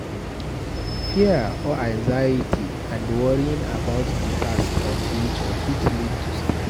Fear or anxiety and worrying about di past or future fit lead to stress